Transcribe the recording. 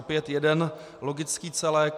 Opět jeden logický celek.